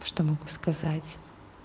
что могу сказать